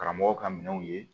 Karamɔgɔw ka minɛnw ye